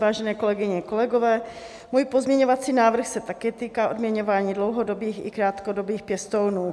Vážené kolegyně, kolegové, můj pozměňovací návrh se také týká odměňování dlouhodobých i krátkodobých pěstounů.